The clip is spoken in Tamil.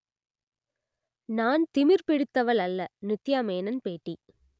நான் திமிர் பிடித்தவள் அல்ல நித்யா மேனன் பேட்டி